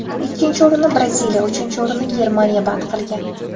Ikkinchi o‘rinni Braziliya, uchinchi o‘rinni Germaniya band qilgan.